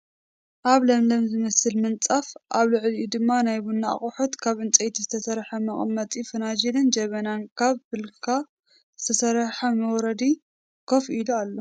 ኣብ ለምለም ዝመስል ምንፃፍ ኣብ ልዕሊኡ ድማ ናይ ቡና ኣቁሑት ካብ ዕንጨይቲ ዝተሰረሐ መቀመጢ ፈናጅልን ጀበና ካብ ብላካ ዝተሰረሐ መውረዲ ከፍ ኢሉ ኣሎ።